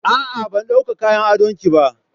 A'a ban dawka kayan adon ki ba.